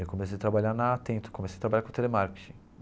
Eu comecei a trabalhar na Atento, comecei a trabalhar com telemarketing.